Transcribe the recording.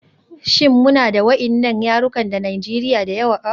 Shin muna da waɗannan yarukan da yawa a Najeriya a da?